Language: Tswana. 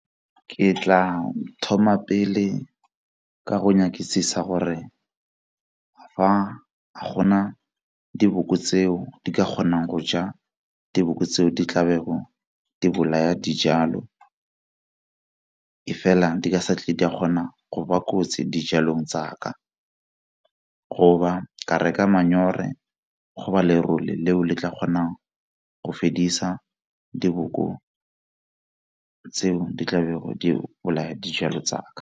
Ke tla thoma pele ka go nyakisisa gore fa a gona diboko tseo di ka kgonang go ja diboko tseo di di bolaya dijalo, e fela di ka sa tle di a kgona go ba kotsi dijalong tsa ka go ba ka reka go ba lerole leo le tla kgonang go fedisa diboko tseo di tla di bolaya dijalo tsa ka.